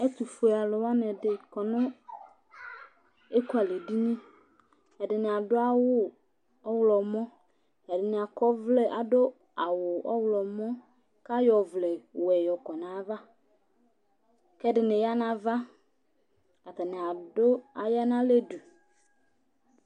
Ɛtʋfuealʋ dɩnɩ kɔ nʋ ekualɛdini Ɛdɩnɩ adʋ awʋ ɔɣlɔmɔ, ɛdɩnɩ akɔ ɔvlɛ adʋ awʋ ɔɣlɔmɔ kʋ ayɔ ɔvlɛwɛ kɔ nʋ ayava kʋ ɛdɩnɩ ya nʋ ava Atanɩ adʋ aya nʋ alɛ du